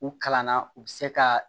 U kalanna u bɛ se ka